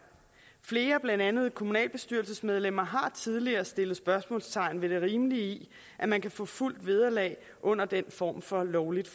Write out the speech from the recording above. flere blandt andet kommunalbestyrelsesmedlemmer har tidligere sat spørgsmålstegn ved det rimelige i at man kan få fuldt vederlag under den form for lovligt